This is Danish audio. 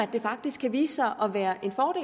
det faktisk kan vise sig at være